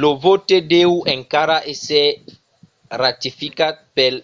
lo vòte deu encara èsser ratificat pel